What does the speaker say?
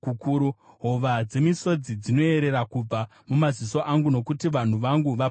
Hova dzemisodzi dzinoyerera kubva mumaziso angu, nokuti vanhu vangu vaparadzwa.